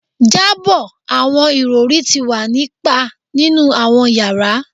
Jabọ awọn irọri ti wa ni pa ninu awọn yara